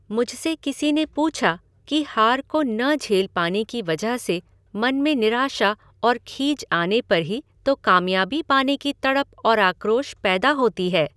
मुझसे किसी ने पूछा कि हार को न झेल पाने की वजह से मन में निराशा और खीझ आने पर ही तो कामयाबी पाने की तड़प और आक्रोश पैदा होती है?